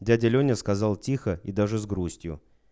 дядя лёня сказал тихо и даже с грустью